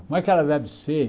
Como é que ela deve ser?